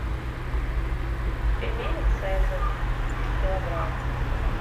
пельмени цезарь килограмм